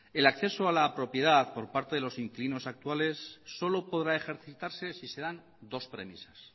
el acceso a la propiedad por parte de los inquilinos actuales solo podrá ejercitarse si se dan dos premisas